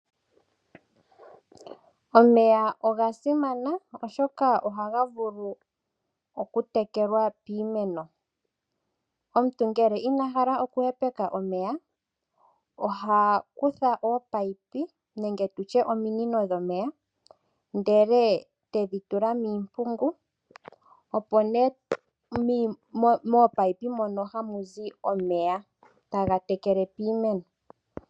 Omeya oga simana oshoka ohaga vulu okutekelwa piimeno. Omuntu ngele ina hala okuhepeka omeya oha kutha oopaipi nenge tutye ominino dhomeya ndele tedhi tula miimpungu opo nee moomaipi mono hamu zi omeya taga tekele piimeno.